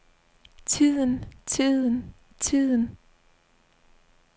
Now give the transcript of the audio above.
tiden tiden tiden